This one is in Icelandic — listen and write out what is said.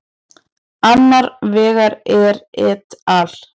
Annar vegar er et al.